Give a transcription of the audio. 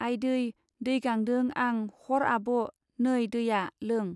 आयदै दै गांदों आं हर आब' नै दैया लों.